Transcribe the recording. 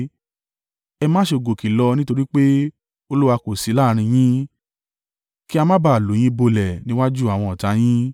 Ẹ má ṣe gòkè lọ nítorí pé Olúwa kò sí láàrín yín. Ki á má ba à lù yín bolẹ̀ níwájú àwọn ọ̀tá yín.